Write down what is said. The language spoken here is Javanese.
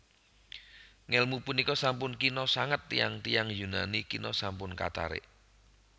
Ngèlmu punika sampun kina sanget tiyang tiyang Yunani kina sampun katarik